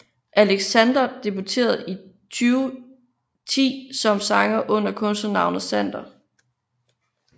Alexander debuterede i 2010 som sanger under kunstnernavnet Xander